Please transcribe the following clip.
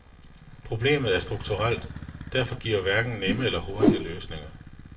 Problemet er strukturelt, derfor gives hverken nemme eller hurtige løsninger.